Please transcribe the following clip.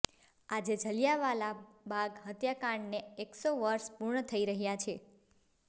આજે જલિયાંવાલા બાગ હત્યાકાંડને એકસો વર્ષ પૂર્ણ થઈ રહ્યા છે